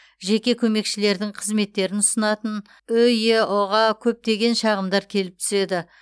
жеке көмекшілердің қызметтерін ұсынатын ұеұ ға көптеген шағымдар келіп түседі